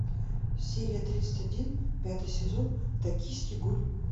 серия тридцать один пятый сезон токийский гуль